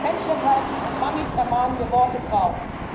Händchenhalten und Mammis ermahnende Worte braucht?